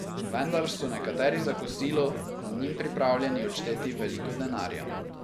Vendar so nekateri za kosilo z njim pripravljeni odšteti veliko denarja.